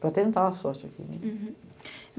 para tentar a sorte aqui. Hurum.